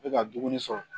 N bɛ ka dumuni sɔrɔ